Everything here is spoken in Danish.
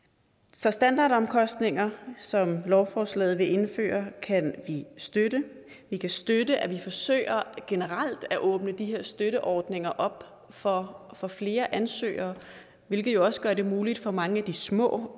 så standardomkostninger som lovforslaget vil indføre kan vi støtte vi kan støtte at vi forsøger generelt at åbne de her støtteordninger op for for flere ansøgere hvilket jo også gør det muligt for mange af de små